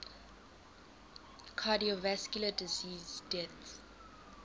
cardiovascular disease deaths